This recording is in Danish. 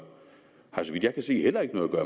har så vidt jeg kan se heller ikke noget at